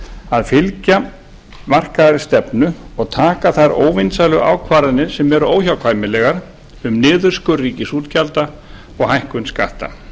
að fylgja markaðri stefnu og taka þær óvinsælu aðgerðir sem eru óhjákvæmilegar um niðurskurð ríkisútgjalda og hækkun skatta